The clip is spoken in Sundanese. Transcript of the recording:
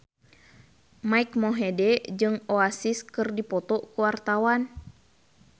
Mike Mohede jeung Oasis keur dipoto ku wartawan